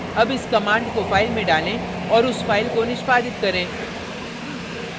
अब इस command को file में डालें और उस file को निष्पादित करें